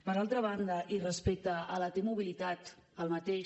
per altra banda i respecte a la t mobilitat el mateix